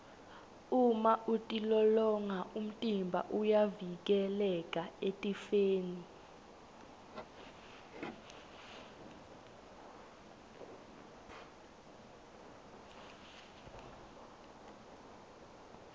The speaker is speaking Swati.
uma utilolonga umtimba uyavikeleka etifeni